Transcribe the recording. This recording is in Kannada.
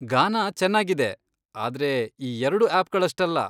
ಗಾನಾ ಚೆನ್ನಾಗಿದೆ, ಆದ್ರೆ ಈ ಎರ್ಡು ಆಪ್ಗಳಷ್ಟಲ್ಲ.